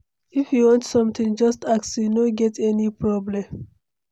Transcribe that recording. If you want something, just ask, you no get any problem.